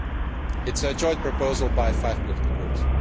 This is a joint proposal by five political groups.